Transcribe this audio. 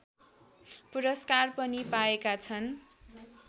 पुरस्कार पनि पाएका छन्